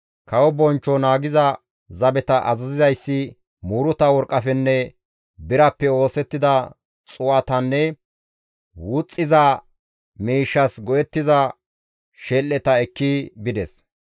Kawo bonchcho naagiza zabeta azazizayssi muuruta worqqafenne birappe oosettida xuu7atanne wuxxiza miishshas go7ettiza shel7eta ekki bides.